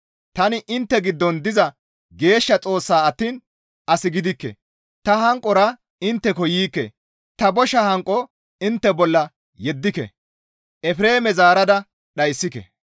Tani intte giddon diza Geeshsha Xoossa attiin as gidikke. Ta hanqora intte intteko yiikke; ta bosha hanqo intte bolla yeddike; Efreeme zaarada dhayssike.